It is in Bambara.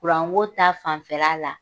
ko ta fanfɛla la